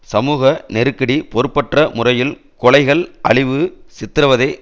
சமூக நெருக்கடி பொறுப்பற்ற முறையில் கொலைகள் அழிவு சித்திரவதை